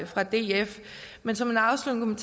fra df men som en afsluttende